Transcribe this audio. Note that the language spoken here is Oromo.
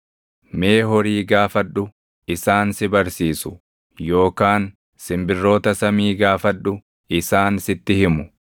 “Mee horii gaafadhu; isaan si barsiisu; yookaan simbirroota samii gaafadhu; isaan sitti himu;